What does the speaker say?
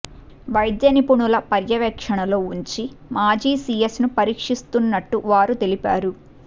వైద్య నిపుణుల పర్యవేక్షణలో ఉంచి మాజీ సిఎస్ను పరీక్షిస్తున్నట్టు వారు తెలిపారు